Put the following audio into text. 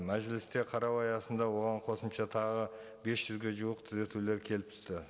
мәжілісте қарау аясында оған қосымша тағы бес жүзге жуық түзетулер келіп түсті